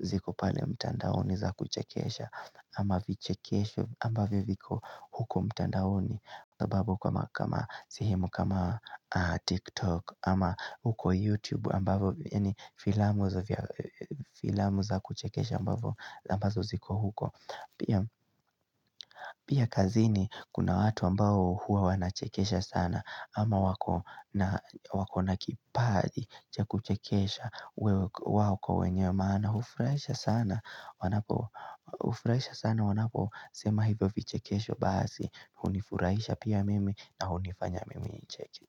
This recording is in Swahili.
ziko pale mtandaoni za kuchekesha. Ama vichekesho ambavyo viko huko mtandaoni ambavyo kama kama sehemu kama tiktok ama huko youtube ambavyo filamu za kuchekesha ambazo ziko huko Pia kazini kuna watu ambao huwa wanachekesha sana ama wako na kipaji cha kuchekesha wako wenye maana hufurahisha sana hufurahisha sana wanaposema hivyo vichekesho basi hunifurahisha pia mimi na hunifanya mimi nicheke.